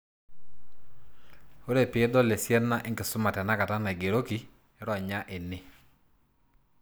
Ore pidol esiana enkisuma tenakata naigeroki, ronya ene.